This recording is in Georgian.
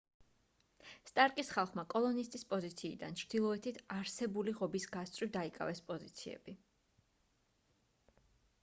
სტარკის ხალხმა კოლონისტის პოზიციიდან ჩრდილოეთით არსებული ღობის გასწვრივ დაიკავეს პოზიციები